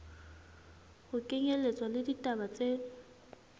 ho kenyelletswa le ditaba tse